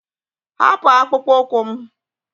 Hapụ akpụkpọ ụkwụ m!